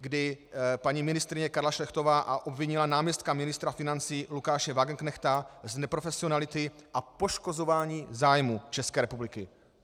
kdy paní ministryně Karla Šlechtová obvinila náměstka ministra financí Lukáše Wagenknechta z neprofesionality a poškozování zájmů České republiky.